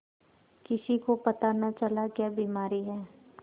किसी को पता न चला क्या बीमारी है